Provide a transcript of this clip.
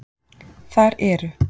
Þar eru